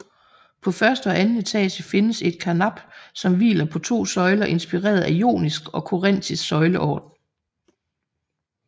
På første og anden etage findes et karnap som hviler på to søjler inspireret af jonisk og korintisk søjleorden